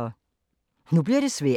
Nu bliver det svært